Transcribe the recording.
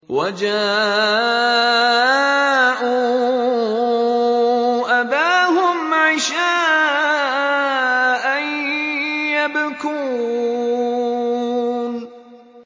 وَجَاءُوا أَبَاهُمْ عِشَاءً يَبْكُونَ